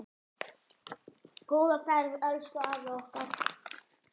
Góða ferð elsku afi okkar.